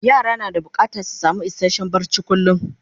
yara na da bukatan su samu isasshen barci kullum